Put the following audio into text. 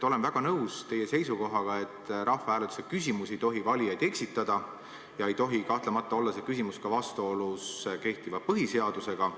Olen väga nõus teie seisukohaga, et rahvahääletuse küsimus ei tohi valijaid eksitada ja see ei tohi kahtlemata olla ka vastuolus kehtiva põhiseadusega.